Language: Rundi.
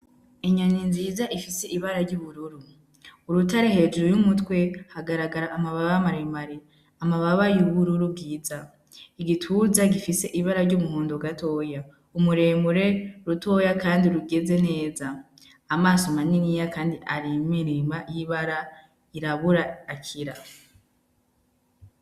Inyoni nziza ifise ibara ry'ubururu, urutare hejuru y'umutwe hagaragara amababa maremare, amababa y'ubururu bwiza, igituza gifise ibara ry'umuhondo ugatoya, ni muremure rutoya kandi rugeze neza, amaso maniniya, kandi arimwo irema y'ibara y'irabura akira.